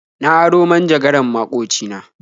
Na aro manjagaran maƙoci na.